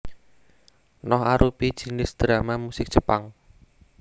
Noh arupi jinis drama musik Jepang